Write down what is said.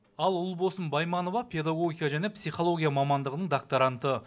ал ұлбосын байманова педагогика және психология мамандығының докторанты